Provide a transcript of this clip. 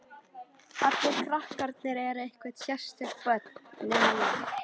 Allir krakkarnir eru einhver sérstök börn, nema ég.